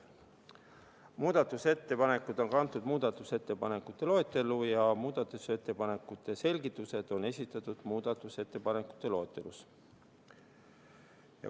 Muudatusettepanekud on kantud muudatusettepanekute loetellu ja muudatusettepanekute selgitused on samuti esitatud muudatusettepanekute loetelus.